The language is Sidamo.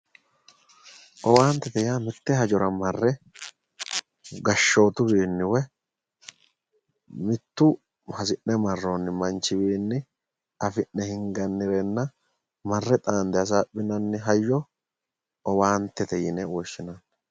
Owaantete yaa mitte hajora marre gashoottuwiinni woye mittu hasi'ne maroonni manchiwiinni afi'ne hingannirenna marre xaande hasaaphinanni hayo owaantete yine woshshinanni